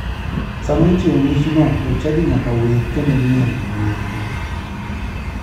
Sama ichiwo michno jochadi nyaka wer kendo miel ne wendo.